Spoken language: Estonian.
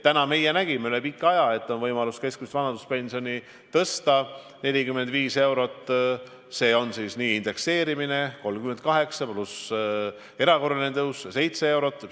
Nüüd me nägime üle pika aja, et on võimalus keskmist vanaduspensioni tõsta 45 eurot: see on siis nii indekseerimine 38 eurot pluss erakorraline tõus 7 eurot.